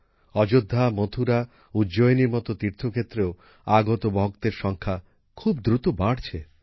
অয্যোধ্যা মথুরা উজ্জয়িনীর মতো তীর্থক্ষেত্রেও আগত ভক্তের সংখ্যা খুব দ্রুত বাড়ছে